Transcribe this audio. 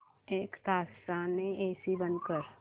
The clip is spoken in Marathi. एक तासाने एसी बंद कर